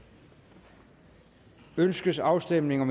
ønskes afstemning